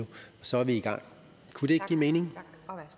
så er vi i gang kunne det ikke give mening